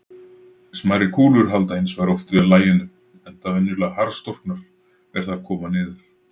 Smærri kúlur halda hins vegar oft vel laginu, enda venjulega harðstorknar er þær koma niður.